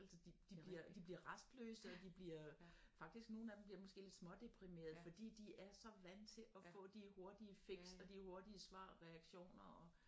Altså de bliver de bliver rastløse og de bliver faktisk nogle af dem bliver måske lidt smådeprimerede fordi de er så vant til og få de hurtige fix og de hurtige svar reaktioner og